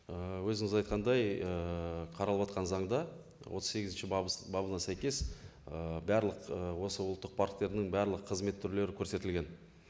ііі өзіңіз айтқандай ііі қаралыватқан заңда отыз сегізінші бабына сәйкес ііі барлық і осы ұлттық парктердің барлық қызмет түрлері көрсетілген